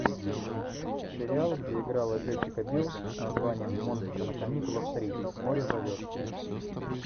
сериал где играла джессика бил с названием монстры на каникулах три море зовет